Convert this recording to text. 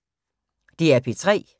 DR P3